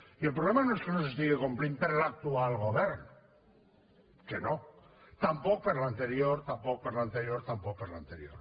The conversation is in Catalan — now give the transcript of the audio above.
i el problema no és que no s’estiga complint per l’actual govern que no tampoc per l’anterior tampoc per l’anterior tampoc per l’anterior